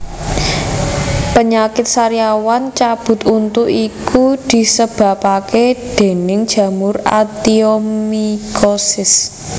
Penyakit sariawan cabut untu iki disebabake déning jamur actionomycosis